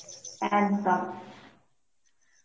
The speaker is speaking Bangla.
একদম